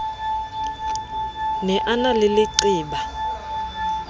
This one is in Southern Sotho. ne a na le leqeba